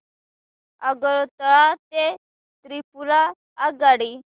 आगरतळा ते त्रिपुरा आगगाडी